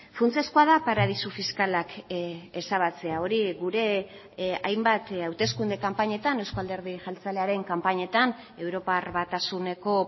funtsezkoa da paradisu fiskalak ezabatzea hori gure hainbat hauteskunde kanpainetan eusko alderdi jeltzalearen kanpainetan europar batasuneko